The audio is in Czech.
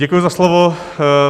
Děkuji za slovo.